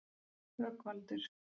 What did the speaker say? Rögnvaldur